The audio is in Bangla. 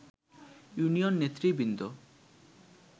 ইউনিয়ন নেতৃবৃন্দ